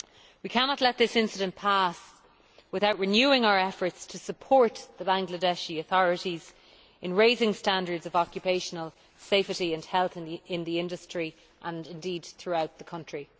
We cannot let this incident pass without renewing our efforts to support the Bangladeshi authorities in raising standards of occupational safety and health in the industry and, indeed, throughout the country.